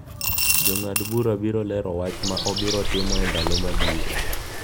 Jang’ad bura biro lero wach ma obiro timo e ndalo mabiro.